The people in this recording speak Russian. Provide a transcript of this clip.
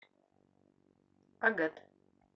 агат